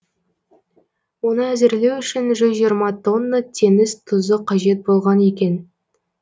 оны әзірлеу үшін жүз жиырма тонна теңіз тұзы қажет болған екен